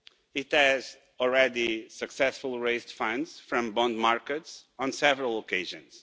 It has already successfully raised funds from bond markets on several occasions.